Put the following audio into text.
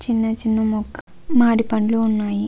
చిన్న చిన్న మొక్క మామిడి పండ్లు ఉన్నాయి.